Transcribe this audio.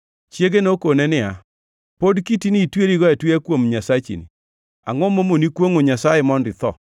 Chiege nokone niya, “Pod kitini itwerigo atweya kuom Nyasachini? Angʼo mamoni kwongʼo Nyasaye mondo itho!”